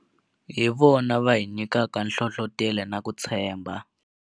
Hi vona va hi nyikaka nhlohlotelo na ku tshembha.